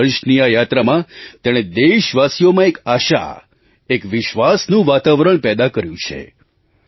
25 વર્ષની આ યાત્રામાં તેણે દેશવાસીઓમાં એક આશા એક વિશ્વાસનું વાતાવરણ પેદા કર્યું છે